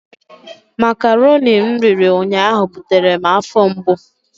Makaroni m riri ụnyaahụ butere m afọ mgbu.